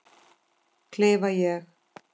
klifa ég.